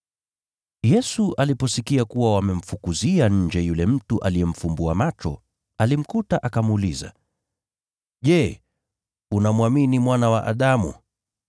Yesu aliposikia kuwa wamemfukuzia nje yule mtu aliyemfumbua macho, alimkuta akamuuliza, “Je, unamwamini Mwana wa Adamu?”